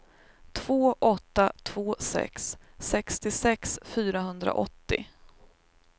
två åtta två sex sextiosex fyrahundraåttio